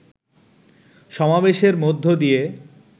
সমাবেশের মধ্য দিয়ে